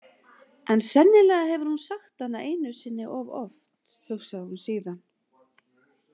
En sennilega hefur hún sagt hana einu sinni of oft, hugsaði hún síðan.